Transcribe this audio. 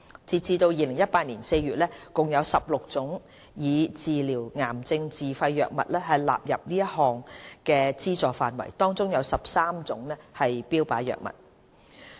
截至2018年4月，共有16種用以治療癌症的自費藥物獲納入此項目的資助範圍，當中有13種為標靶藥物。